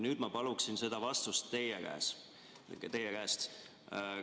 Nüüd ma palun seda vastust teie käest.